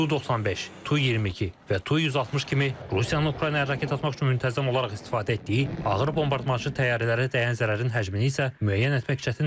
TU-95, TU-22 və TU-160 kimi Rusiyanın Ukraynaya raket atmaq üçün müntəzəm olaraq istifadə etdiyi ağır bombardmançı təyyarələrə dəyən zərərin həcmini isə müəyyən etmək çətindir.